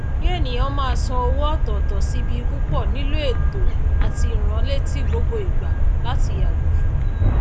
kí ènìyàn máa san owó òtòtò sí ibi púpò nílò ètò àti ìránletí gbogbo ìgbà láti yàgò fún